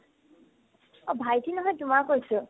অ, ভাইটি নহয় তোমাৰ কৈছো